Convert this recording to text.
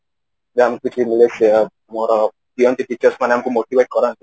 teachers ମାନେ ଆମକୁ motivate କରନ୍ତି